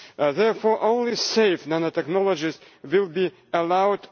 Therefore, only safe nanotechnologies will be allowed.